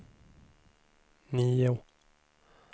nio